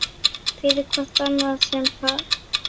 fyrir hvort annað sem par